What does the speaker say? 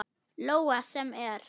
Lóa: Sem er?